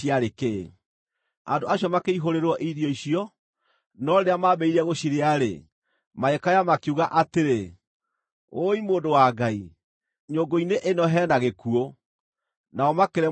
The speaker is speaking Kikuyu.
Andũ acio makĩihũrĩrwo irio icio, no rĩrĩa maambĩrĩirie gũcirĩa-rĩ, magĩkaya makiuga atĩrĩ, “Wũi mũndũ wa Ngai, nyũngũ-inĩ ĩno he na gĩkuũ!” Nao makĩremwo nĩ gũcirĩa.